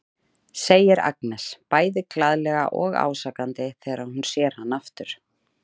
segir Agnes bæði glaðlega og ásakandi þegar hún sér hann aftur.